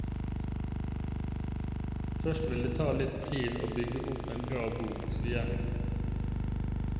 Først vil det ta litt tid å bygge opp en bra bok, sier hun.